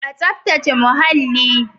A tsafta ce muhalli.